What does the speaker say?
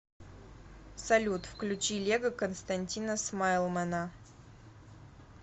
салют включи лего константина смайлмэна